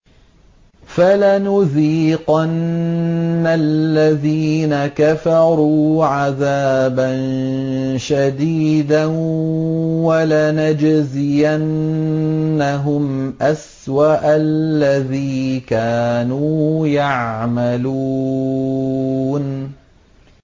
فَلَنُذِيقَنَّ الَّذِينَ كَفَرُوا عَذَابًا شَدِيدًا وَلَنَجْزِيَنَّهُمْ أَسْوَأَ الَّذِي كَانُوا يَعْمَلُونَ